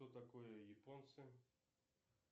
кто такое японцы